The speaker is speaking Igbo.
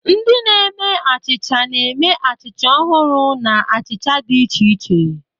Ndị na-eme achịcha na-eme achịcha ọhụrụ na achịcha dị iche iche.